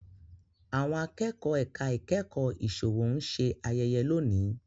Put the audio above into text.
Àwọn Akẹ́kọ̀ọ́ ẹ̀ka ìkẹ́kọ̀ọ́ ìsòwò ń ṣe ayẹyẹ lónìí